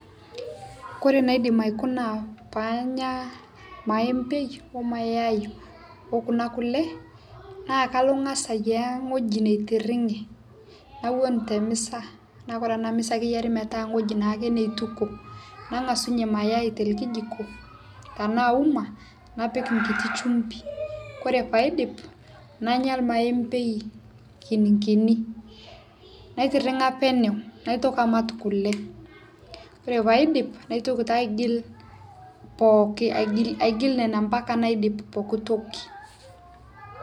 Kore naidim aikuna paanya irmaembei ormayai okuna kule, nakangasa ayiaya wueji naitiringe, naton temisa na ore enamisa na keton ake tewueji naituku ,nangasa nye mayai aiteleli jiko ,tanaa uma napik nkiti chumbi ore paidip nanya irmaembei kititi naitiringa penyo kule, ore paidim naitoki taa aigil pookin aigil nona ambaka naidip poookitoki.